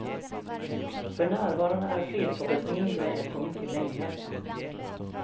För närvarande är fredshoppet mindre än på mycket länge.